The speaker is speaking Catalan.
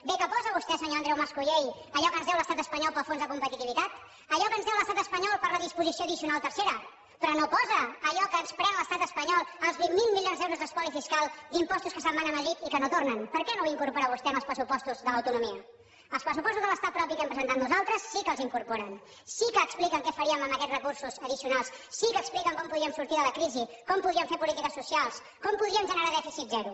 bé que posa vostè senyor andreu mascolell allò que ens deu l’estat espanyol pel fons de competitivitat allò que ens deu l’estat espanyol per la disposició addicional tercera però no posa allò que ens pren l’estat espanyol els vint miler milions d’euros d’espoli fiscal d’impostos que se’n van a madrid i que no tornen per què no ho incorpora vostè en els pressupostos de l’autonomia els pressupostos de l’estat propi que hem presentat nosaltres sí que els hi incorporen sí que expliquen què faríem amb aquests recursos addicionals sí que expliquen com podríem sortir de la crisi com podríem fer polítiques socials com podríem generar dèficit zero